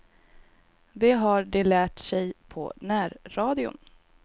Det har de lärt sig på närradion.